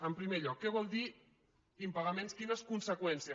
en primer lloc què vol dir impagaments quines conseqüències